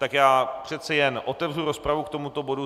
Tak já přece jen otevřu rozpravu k tomuto bodu.